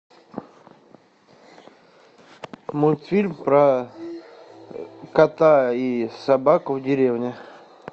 мультфильм про кота и собаку в деревне